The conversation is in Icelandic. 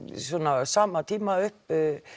á sama tíma upp